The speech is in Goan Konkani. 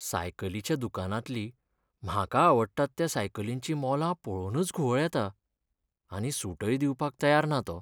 सायकलीच्या दुकानांतलीं म्हाका आवडटात त्या सायकलींचीं मोलां पळोवनच घुंवळ येता. आनी सूटय दिवपाक तयार ना तो.